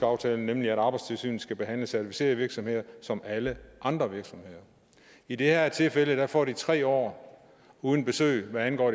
aftale nemlig at arbejdstilsynet skal behandle certificerede virksomheder som alle andre virksomheder i det her tilfælde får de tre år uden besøg hvad angår